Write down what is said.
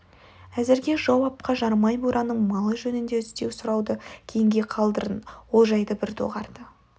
әзірге жау апқа жарымай бураның малы жөнінде іздеу сұрауды кейінге қалдырын ол жайды бір доғарды